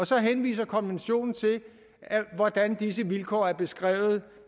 så henviser konventionen til hvordan disse vilkår er beskrevet